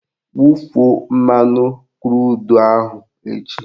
Wufuo mmanụ krudu ahụ echi!